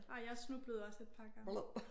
Nej jeg snublede også et par gange